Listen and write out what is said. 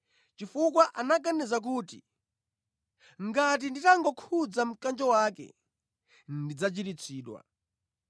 chifukwa anaganiza kuti, “Ngati nditangokhudza mkanjo wake, ndidzachiritsidwa.”